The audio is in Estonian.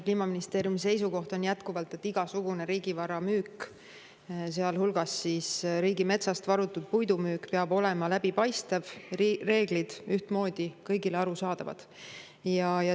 Kliimaministeeriumi seisukoht on jätkuvalt, et igasugune riigivara müük, sealhulgas riigimetsast varutud puidu müük, peab olema läbipaistev ja reeglid peavad olema kõigile ühtmoodi arusaadavad.